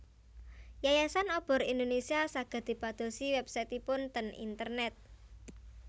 Yayasan Obor Indonesia saged dipadosi website ipun ten internet